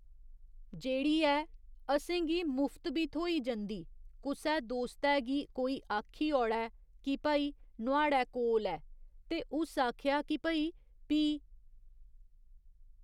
जेह्ड़ी ऐ असेंगी मुफ्त बी थ्होई जंदी कुसै दोस्तै गी कोई आक्खी औड़ै कि भई नुहाड़ै कोल ऐ ते उस आखेआ कि भई पी.